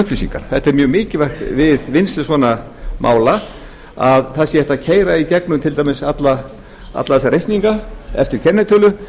upplýsingar það er mjög mikilvægt við vinnslu svona mála að það sé hægt að keyra í gegnum til dæmis alla þá reikninga eftir kennitölu